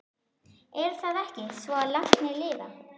Er það ekki svo að látnir lifa?